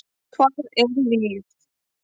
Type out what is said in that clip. Hvað er líf?